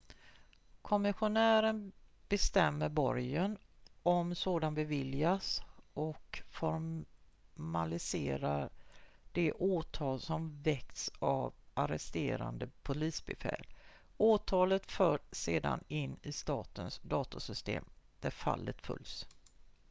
kommissionären bestämmer borgen om sådan beviljas och formaliserar de åtal som väckts av arresterande polisbefäl åtalet förs sedan in i statens datorsystem där fallet följs